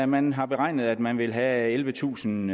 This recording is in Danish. man har beregnet at man vil have ellevetusind